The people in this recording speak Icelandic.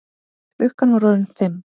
Klukkan var orðin fimm.